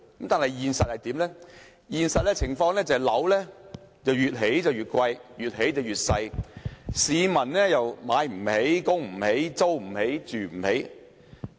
但是，現實情況是房屋越來越貴，也越來越細，市民買不起、供不起、租不起、住不起。